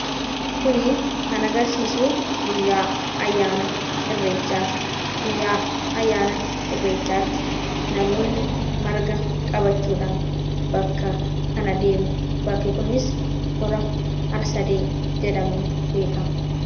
Kuni kan agarsiisu guyyaa ayyaana irreechaati. Guyyaa ayyaana irreechaatti namoonni marga qabachuudhaan bakka kana deemu. Bakki kunis Hora Har-sadee jedhamuun beekama.